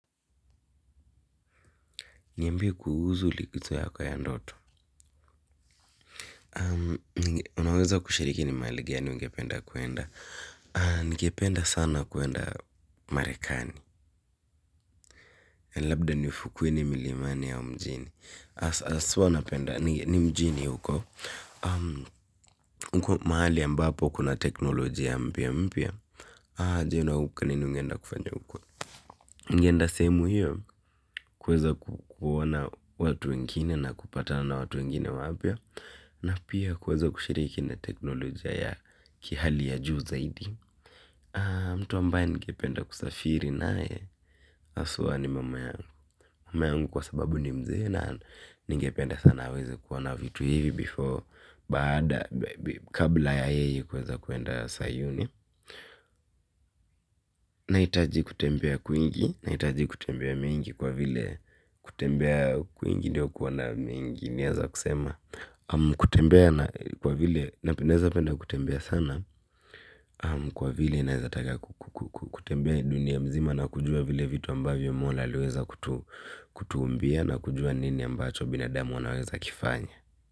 Niambie kuhusu likizo yako ya ndoto. Unaweza kushiriki ni mahali gani ungependa kuenda. Ningependa sana kuenda marekani. Labda nifukweni milimani ya mjini hasa haswa napenda ni ni mjini huko. Huko mahali ambapo kuna teknolojia mpya mpya. Je, huko nini ungeenda kufanya huko. Ninge enda sehemu hiyo kuweza kuona watu wengine na kupatana na watu wengine wapya. Na pia kuweza kushiriki na teknolojia ya kihali ya juu zaidi. Mtu ambaye ningependa kusafiri naye haswa ni mama yangu. Mama yangu kwa sababu ni mzee na ningependa sana aweze kuona vitu hivi before baada kabla ya yeye kuweza kuenda sayuni nahitaji kutembea kwingi nahitaji kutembea mingi kwa vile kutembea kwingi ndiyo kuona mingi naweza kusema kwa vile naweza taka kutembea dunia mzima na kujua vile vitu ambavyo mola aliweza kutuumbia na kujua ni nini ambacho binadamu anaweza kifanya.